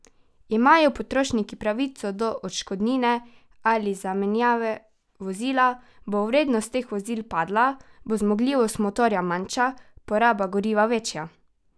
Imajo potrošniki pravico do odškodnine ali zamenjave vozila, bo vrednost teh vozil padla, bo zmogljivost motorja manjša, poraba goriva večja?